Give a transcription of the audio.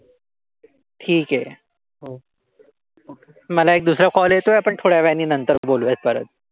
ठीक आहे, मला एक दुसरा कॉल येतोय. आपण थोड्या वेळानी नंतर बोलूयात परत.